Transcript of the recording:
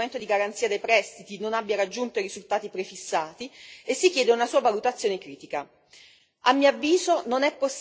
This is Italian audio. Così, ad esempio, si sottolinea come lo strumento di garanzia dei prestiti non abbia raggiunto i risultati prefissati e si chiede una sua valutazione critica.